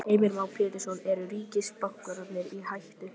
Heimir Már Pétursson: Eru ríkisbankarnir í hættu?